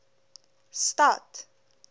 stad